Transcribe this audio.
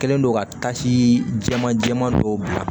Kɛlen do ka tasii jɛman jɛman dɔw bila